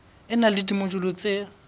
e na le dimojule tse